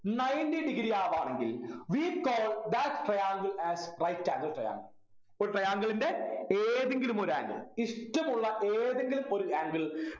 ninety degree ആവാണെങ്കിൽ we call that triangle as right angle triangle ഒരു triangle ൻ്റെ ഏതെങ്കിലും ഒരു angle ഇഷ്ടമുള്ള ഏതെങ്കിലും ഒരു angle